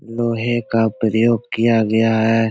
लोहे का प्रयोग किया गया है ।